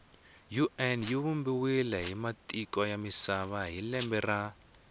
un yivumbiwe hhimatiko yamisava hhilembe ra